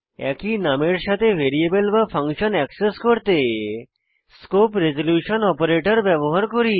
একই নামের সাথে ভ্যারিয়েবল বা ফাংশন অ্যাক্সেস করতে স্কোপ রেজল্যুশন অপারেটর ব্যবহার করি